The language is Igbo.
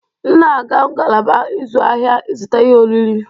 M na-aga ngalaba ịzụ ahịa ịzụta ihe oriri.